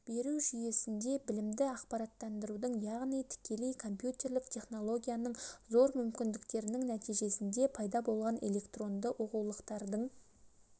беру жүйесінде білімді ақпараттандырудың яғни тікелей компьютерлік технологияның зор мүмкіндіктерінің нәтижесінде пайда болған электронды оқулықтардың